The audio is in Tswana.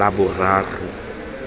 laboraro